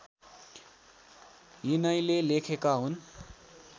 यिनैले लेखेका हुन्